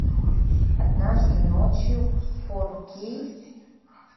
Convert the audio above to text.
однажды ночью фор кей